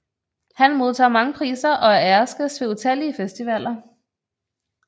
Han modtager mange priser og er æresgæst ved utallige festivaler